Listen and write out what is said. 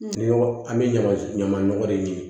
An bɛ ɲama ɲama nɔgɔ de ye